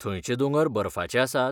थंयचेे दोंगर बर्फाचे आसात?